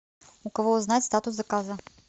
у кого узнать статус заказа